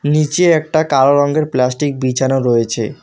নীচে একটা কালো রঙ্গের প্লাস্টিক বিছানো রয়েছে।